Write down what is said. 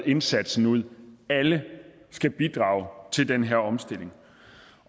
indsatsen ud alle skal bidrage til den her omstilling